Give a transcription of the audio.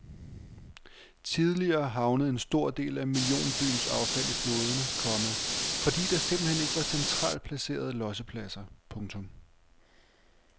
Tidligere havnede en stor del af millionbyens affald i floderne, komma fordi der simpelthen ikke var centralt placerede lossepladser. punktum